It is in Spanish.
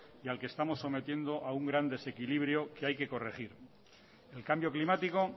y al que estamos sometiendo a un gran desequilibrio que hay que corregir el cambio climático